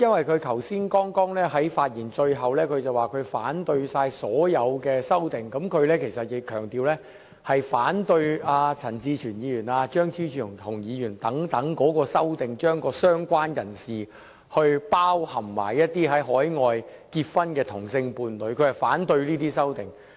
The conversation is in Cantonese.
他剛才在發言最後部分表示反對所有修正案，但他強調他是反對陳志全議員、張超雄議員等人的修正案，即在"相關人士"定義中涵蓋海外結婚的同性伴侶的修正案。